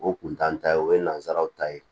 O kun t'an ta ye o ye nansaraw ta ye